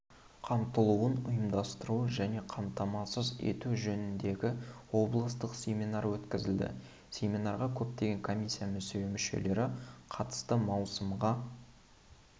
қамтылуын ұйымдастыру және қамтамасыз ету жөніндегі облыстық семинар өткізілді семинарға көптеген комиссия мүшелері қатысты маусымға